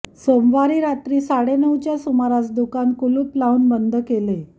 सोमवारी रात्री साडेनऊच्या सुमारास दुकान कुलूप लावून बंद केले